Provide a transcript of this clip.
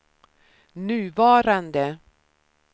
nuvarande